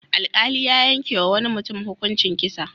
Alƙali ya yankewa wani mutum hukuncin kisa.